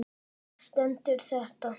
Þar stendur þetta